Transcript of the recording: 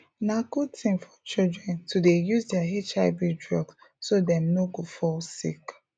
na good thing for children to dey use their hiv drugs so dem no go fall sick